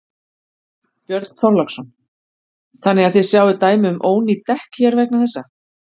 Björn Þorláksson: Þannig að þið sjáið dæmi um ónýt dekk hér vegna þessa?